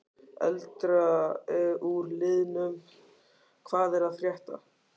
Eldra úr liðnum Hvað er að frétta?